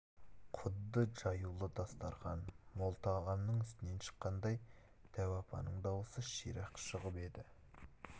құдды жаюлы дастарқан мол тағамның үстінен шыққандай дәу апаның дауысы ширақ шығып еді